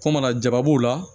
Ko mana jaba b'o la